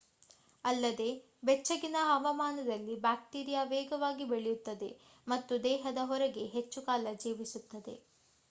ಅಲ್ಲದೆ ಬೆಚ್ಚಗಿನ ಹವಾಮಾನದಲ್ಲಿ ಬ್ಯಾಕ್ಟೀರಿಯಾ ವೇಗವಾಗಿ ಬೆಳೆಯುತ್ತದೆ ಮತ್ತು ದೇಹದ ಹೊರಗೆ ಹೆಚ್ಚು ಕಾಲ ಜೀವಿಸುತ್ತದೆ